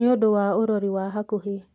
Nĩũndũ wa ũrori wa hakuhĩ